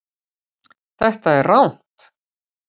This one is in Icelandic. Þetta er rangt